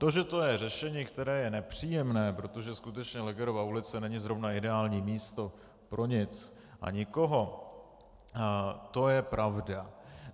To, že to je řešení, které je nepříjemné, protože skutečně Legerova ulice není zrovna ideální místo pro nic a nikoho, to je pravda.